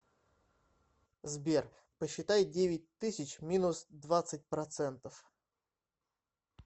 сбер посчитай девять тысяч минус двадцать процентов